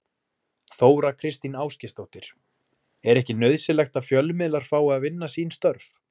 Þóra Kristín Ásgeirsdóttir: Er ekki nauðsynlegt að fjölmiðlar fái að vinna sín störf?